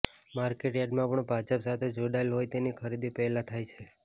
market યાર્ડમાં પણ ભાજપ સાથે જોડાયેલા હોય તેની ખરીદી પહેલા થાય છે